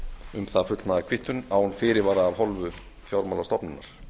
um það fullnaðarkvittun án fyrirvara af hálfu fjármálastofnunar